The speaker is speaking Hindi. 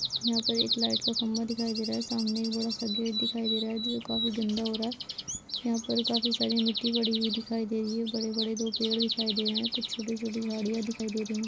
यहाँ पर लाइट का एक खम्बा दिखाई दे रहा है उसके सामने एक बड़ा सा गेट दिखाई दे रहा है जो काफी गंदा हो रहा है यहाँ पर काफी साडी मिटटी पड़ी हुई दिखाई दे रही है बड़े बड़े दो पेड़ दिखाई दे रहे है कुछ छोटे-छोटे झाडिया दिखाई दे रही है।